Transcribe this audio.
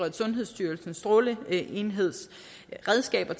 at sundhedsstyrelsens stråleenheds redskaber